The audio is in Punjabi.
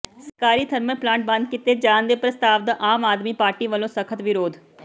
ਸਰਕਾਰੀ ਥਰਮਲ ਪਲਾਂਟ ਬੰਦ ਕੀਤੇ ਜਾਣ ਦੇ ਪ੍ਰਸਤਾਵ ਦਾ ਆਮ ਆਦਮੀ ਪਾਰਟੀ ਵਲੋਂ ਸਖਤ ਵਿਰੋਧ